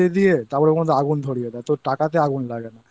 তারপর ওর মধ্যে আগুন ধরিয়ে দেয় তো টাকাতে আগুন লাগে না